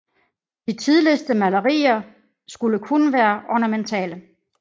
De tidligste malerier skulle kun være ornamentale